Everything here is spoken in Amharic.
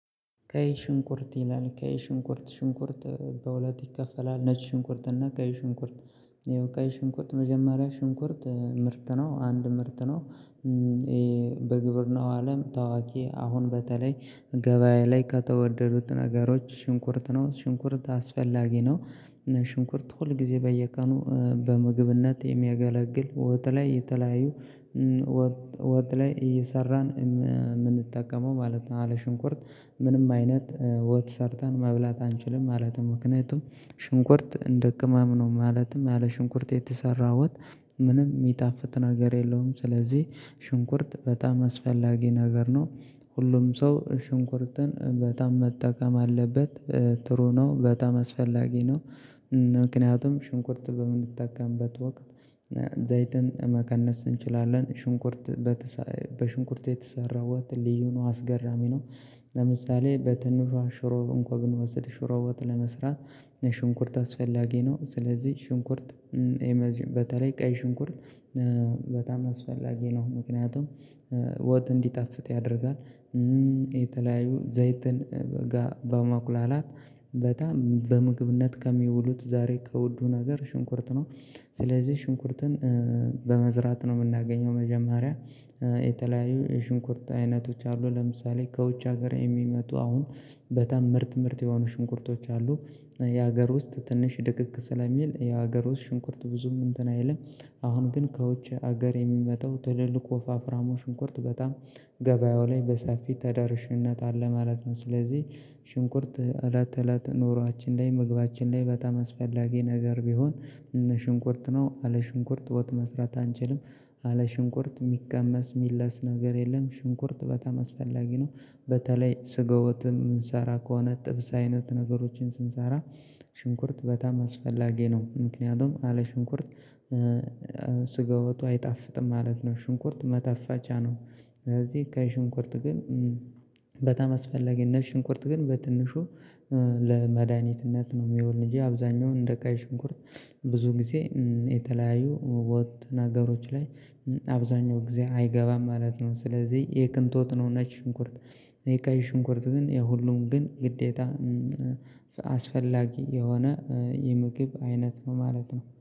ቀይ ሽንኩርት ይላል? ቀይ ሽንኩርት፣ ሽንኩርት በሁት ይከፈላል። ነጭ ሽንኩርት እና ቀይ ሽንኩርት፣ ይኸው ቀይ ሽንኩርት መጀመሪያ ሽንኩርት ምርት ነው፣ አንድ ምርት ነው። በግብርናው አለም ታዋቂ፣ አሁን በተለይ ገበያ ላይ ከተወደዱት ነገሮች ሽንኩርት ነው። ሽንኩርት አስፈላጊ ነው። ሽንኩርት ሁል ጊዜ በየቀኑ በምግብነት የሚያገለግል ወጥ ላይ የተለያዩ ወጥ ላይ እየሰራን የምንጠቀመው ማለት ነው። አለ ሽንኩርት ምንም አይነት ወጥ ሰርተን መብላት አንችልም ማለት ነው። ምክንያቱም ሽንኩርት እንደ ቅማም ነው። ማለትም ያለ ሽንኩርት የተሰራ ወጥ ምንም የሚጣፍጥ ነገር የለውም። ስለዚህ ሽንኩርት በጣም አስፈላጊ ነገር ነው። ሁሉም ሰው ሽንኩርትን በጣም መጠቀም አለበት። ጥሩ ነው፣ በጣም አስፈላጊ ነው። ምክንያቱም ሽንኩርት በምንጠቀምበት ወቅት ዘይትን መቀነስ እንችላለን፣ ሽንኩርት፣ በሽንኩርት የተሰራው ልዩ ነው፣ አስገራሚ ነው። ለምሳሌ በትንሿ ሽሮ እንኳን ብንወስድ ሽሮ ወጥ ለመስራት ሽንኩርት አስፈላጊ ነው። ስለዚህ ሽንኩርት፣ በተለይ ቀይ ሽንኩርት በጣም አስፈላጊ ነው። ምክንያቱም ወጥ እንዲጣፍጥ ያደርጋል። የተለያዩ ዘይትን ጋር በማቁላላት በጣም በምግብነት ከሚውሉት ዛሬ ከወዱ ነገር ሽንኩርት ነው። ስለዚህ ሽንኩርትን በመዝራት ነው የምናገኘው መጀመሪያ። የተለያዩ የሽንኩርት አይነቶች አሉ። ለምሳሌ ከውጭ ሀገር የሚመጡ አሁን በጣም ምርጥ ምርጥ የሆኑ ሽንኩርቶች አሉ። የሀገር ውስጥ ትንሽ ድቅቅ ስለሚል፣ የሀገር ውስጥ ሽንኩርት ብዙም እንትን አይልም። አሁን ግን ከውጭ ሀገር የሚመጣው ትልልቁ ወፋፍራሞ ሽንኩርት በጣም ገበያው ላይ በሰፊ ተደርሽነት አለ ማለት ነው። ስለዚህ ሽንኩርት እለት እለት ኑሯችን ላይ፣ ምግባችን ላይ በጣም አስፈላጊ ነገር ቢሆን ሽንኩርት ነው። አለ ሽንኩርት ወጥ መስራት አንችልም። አለ ሽንኩርት የሚቀመስ፣ የሚለስ ነገር የለም። ሽንኩርት በጣም አስፈላጊ ነው። በተለይ ስጣ ወጥን የሚንሰራ ከሆነ፣ ጥብስ አይነት ነገሮችን ስንሰራ ሽንኩርት በጣም አስፈላጊ ነው። ምክንያቱም አለ ሽንኩርት ስጋ ወጡ አይጣፍጥም ማለት ነው። ሽንኩርት ማጣቸጫ ነው። ስለዚህ ከሽንኩርት ግን በጣም አስፈላጊ ነው። ሽንኩርት ግን በትንሹ ለመድኃኒትነት ነው የሚሆን እንጂ፣ አብዛኛውን እንደ ቀይ ሽንኩርት ብዙ ጊዜ የተለያዩ ወጥ ነገሮች ላይ አብዛኛው ጊዜ አይገባም ማለት ነው። ስለዚህ የቅንጦት ነው ነጭ ሽንኩርት የቀይ ሽንኩርት ግን የሁሉም ግን ግዴታ አስፈላጊ የሆነ የምግብ አይነት ነው ማለት ነው።